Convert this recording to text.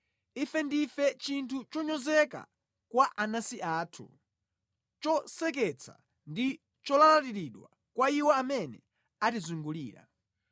Ife ndife chinthu chonyozeka kwa anansi athu, choseketsa ndi cholalatiridwa kwa iwo amene atizungulira.